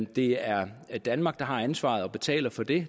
det er danmark der har ansvaret og betaler for det